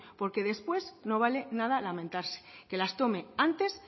porque después no vale nada lamentarse que las tome antes